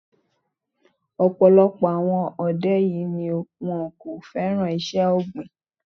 Ọ̀pọ̀lọpọ̀ àwọn ọ̀dọ́ yìí ni wón kò féràn iṣẹ́ ọ̀gbìn.